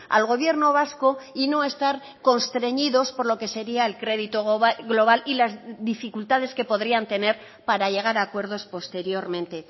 al gobierno vasco y no estar constreñidos por lo que sería el crédito global y las dificultades que podrían tener para llegar a acuerdos posteriormente